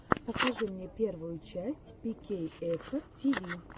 покажи мне первую часть пикейэфа тиви